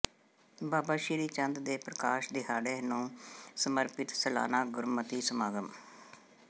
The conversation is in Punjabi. ਬਾਬਾ ਸ੍ਰੀ ਚੰਦ ਦੇ ਪ੍ਰਕਾਸ਼ ਦਿਹਾੜੇ ਨੂੰ ਸਮਰਪਿਤ ਸਾਲਾਨਾ ਗੁਰਮਤਿ ਸਮਾਗਮ